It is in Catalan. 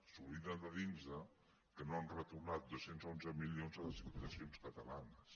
s’obliden de dir nos que no han retornat dos cents i onze milions a les diputacions catalanes